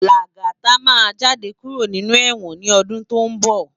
Lagata má jàdé kúró ninú èwòn ni òdún tó n bò